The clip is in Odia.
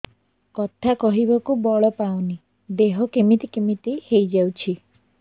କଥା କହିବାକୁ ବଳ ପାଉନି ଦେହ କେମିତି କେମିତି ହେଇଯାଉଛି